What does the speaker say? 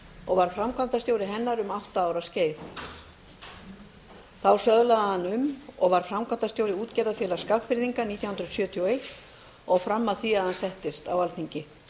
og var framkvæmdastjóri hennar um átta ára skeið þá söðlaði hann um og varð framkvæmdastjóri útgerðarfélags skagfirðinga nítján hundruð sjötíu og eins og fram að því að hann settist á alþingi